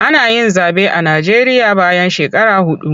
Ana yin zaɓe a Najeriya bayan shekaru huɗu.